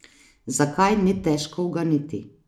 Zakaj, ni težko uganiti.